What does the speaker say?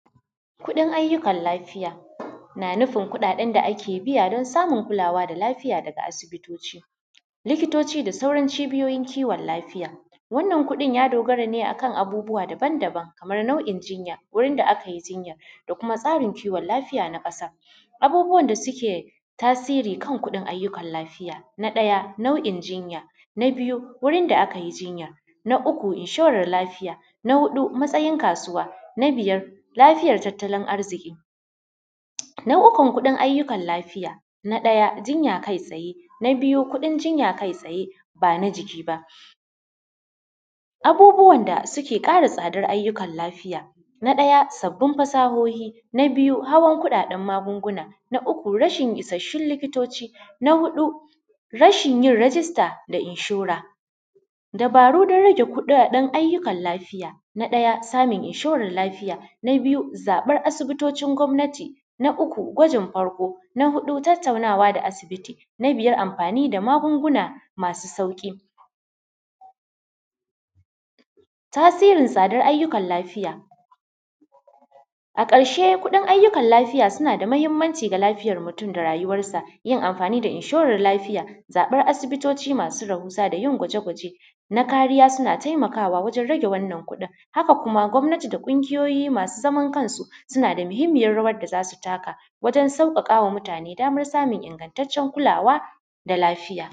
Kuɗin ayyukan lafiya na nufin kuɗaɗen da ake biya don samun kulawa da lafiya daga asibitoci. Likitoci da sauran cibiyoyin kiwon lafiya. Wannan kuɗin ya dogara ne a kan abubuwa daban-daban kamar nau’in jinya, wurin da aka yi jinyar da kuma tsarin kiwon lafiya na ƙasa. Abubuwan da suke tasiri kan kudin ajjukan lafiya. Na ɗaya nau'in jinya na biyu wurn da aka yi jinya, na uku inshoran lafiya, na huɗu matasayin kasuwa na biyar lafiyan tattalin arziki. Na ukun kuɗin ayyukan lafiya na ɗaya jinya kai tsaye, na biyu kuɗin jinya kai tsaye ba na jiki ba. Abubuwan da suke kara tsadar ayyukan lafiya, na ɗaya sabbin fasahohi, na biyu hawan kuɗaɗen magunguna na uku rashin ishassun likitoci, na huɗu rashin yin rijista da inshora. Dabarun don rage kuɗaɗen ayyukan lafiya. Na ɗaya samun inshorar lafiya, na biyu zaɓar asibitocin gwamnati, na uku gwajin farko, na huɗu tattaunawa da asibiti, na biyar amfani da magunguna masu sauƙi. Tasirin tsadar ayyukan lafiya. A ƙarshe kuɗin ayyukan lafiya suna da mahimmanci ga lafiyar mutum da rayuwarsa, yin amfani da inshoran lafiya, zaɓar asibitoci masu rahusa da yin gwaje-gwaje na kariya suna taimakawa wajen rage wannan kuɗin. Haka kuma gwamnati da ƙungiyoyi masu zaman kansu, suna da muhimmayar rawar da za su taka wajen taimakawa mutane samun ingantaccen kulawa da lafiya.